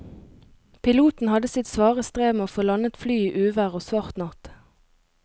Piloten hadde sitt svare strev med å få landet flyet i uvær og svart natt.